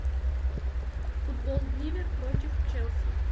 футбол ливер против челси